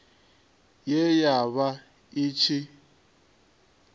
ye ya vha i tshi